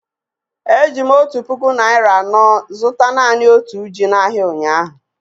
Eji m otu puku naịra anọ zụta naanị otu ji n'ahịa ụnyahụ.